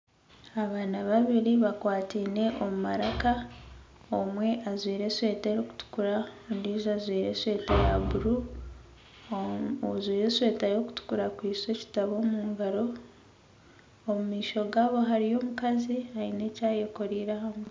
Abaana babiri bakwatine omu maraka omwe ajwire eshweta erukutukura ondiijo ajwire eshweta ya buru ojwire eshweta erukutukura akwise ekitabo omu ngaro omu maisho gaabo hariyo omukazi aine eki ayekoreire aha mutwe.